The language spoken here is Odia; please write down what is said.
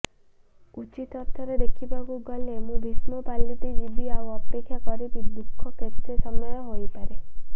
ଉଚିତ ଅର୍ଥରେ ଦେଖିବାକୁ ଗଲେ ମୁଁ ଭୀଷ୍ମ ପାଲଟିଯିବି ଆଉ ଅପେକ୍ଷା କରିବି ଦୁଃଖ କେତେ ସମୟ ହୋଇପାରେ